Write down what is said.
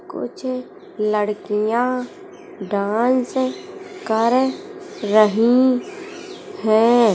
कुछ लड़कियाँ डांस कर रही हैं।